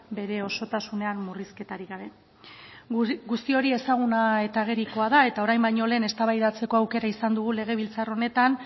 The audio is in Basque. bere osotasunean murrizketarik gabe guzti hori ezaguna eta agerikoa da eta orain baino lehen eztabaidatzeko aukera izan dugu legebiltzar honetan